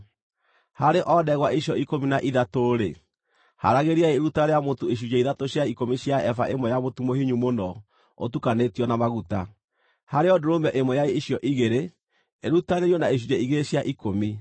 Harĩ o ndegwa icio ikũmi na ithatũ-rĩ, haragĩriai iruta rĩa mũtu icunjĩ ithatũ cia ikũmi cia eba ĩmwe ya mũtu mũhinyu mũno ũtukanĩtio na maguta; harĩ o ndũrũme ĩmwe ya icio igĩrĩ, irutanĩrio na icunjĩ igĩrĩ cia ikũmi;